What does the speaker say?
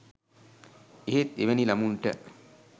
එහෙත් එවැනි ළමුන්ට